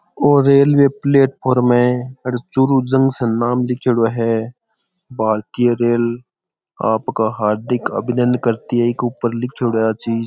और railway platform है Churu junction नाम लीखेड़ो है भारतीय रेल आप का हार्दिक अभिनन्दन करती है या चीज़ लीखेड़ो है इ के ऊपर --